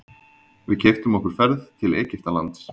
Við keyptum okkur ferð til Egyptalands.